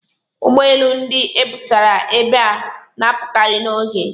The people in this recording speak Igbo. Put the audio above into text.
Ụgbọ elu ndị e busara ebe a na-apụkarị n'oge.